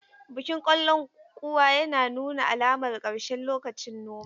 Bikin kallon kuwa yana nuna alamar ƙarshen lokacin noman.